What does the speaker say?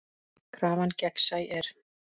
Krafan gegnsæ er.